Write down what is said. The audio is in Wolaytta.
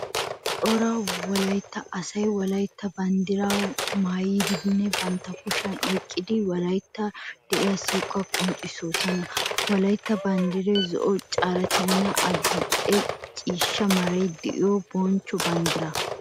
Cora wolaytta asay wolaytta banddira maayiddinne bantta kushiyan oyqiddi wolayttawu de'iya siiquwa qonccisoossona. Wolaytta banddiray zo'o, karettanne adi'e ciishsha meray de'iyo bonchcho banddira.